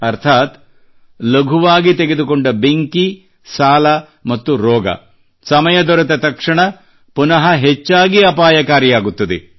ಅರ್ಥಾತ್ ಲಘುವಾಗಿ ತೆಗೆದುಕೊಂಡ ಬೆಂಕಿ ಸಾಲ ಮತ್ತು ರೋಗ ಸಮಯ ದೊರೆತ ತಕ್ಷಣ ಪುನಃ ಹೆಚ್ಚಾಗಿ ಅಪಾಯಕಾರಿಯಾಗುತ್ತದೆ